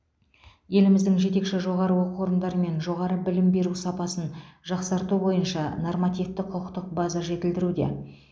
еліміздің жетекші жоғары оқу орындарымен жоғары білім беру сапасын жақсарту бойынша нормативтік құқықтық база жетілдіруде